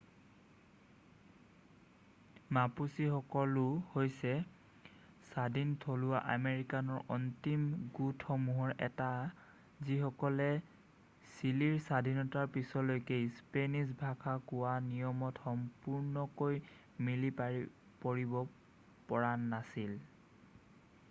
মাপুচিসকলো হৈছে স্বাধীন থলুৱা আমেৰিকানৰ অন্তিম গোটসমূহৰ এটা যিসকলে চিলিৰ স্বাধীনতাৰ পিছলৈকে স্পেনিশ্ব ভাষা কোৱা নিয়মত সম্পূৰ্ণকৈ মিলি পৰিব পৰা নাছিল